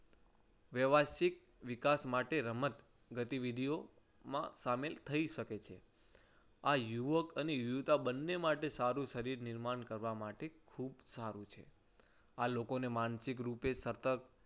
વ્યવસ્થિત વિકાસ માટે રમત ગતિવિધિઓ માં સામેલ થઈ શકે છે આ યુવક અને યુવતી બંને માટે સારું છે. શરીર નિર્માણ કરવા માટે ખૂબ સારું છે. આ લોકોને માનસિક રૂપે સતત